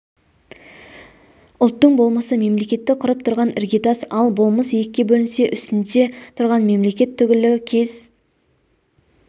ұлттың болмысы мемлекетті құрып тұрған іргетас ал болмыс екіге бөлінсе үстінде тұрған мемлекет түгілі кез